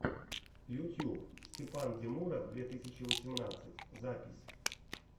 ютьюб степандемура две тысячи восемнадцать запись